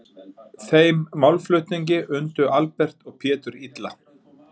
Þeim málflutningi undu Albert og Pétur illa.